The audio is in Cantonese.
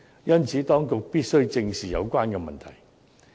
因此，當局必須正視有關問題。